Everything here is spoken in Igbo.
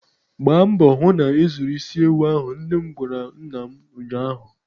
Gba mbọ hụ na ị zụrụ isi ewu ahụ! nnem gwara nna m ụnyaahụ.